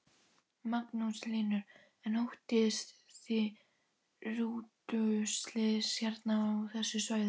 Magnús Hlynur: En óttist þið rútuslys hérna á þessu svæði?